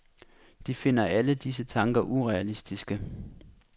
De finder alle disse tanker urealistiske.